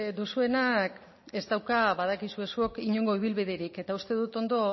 duzuenak ez dauka badakizue zuok inongo ibilbiderik eta uste dut ondo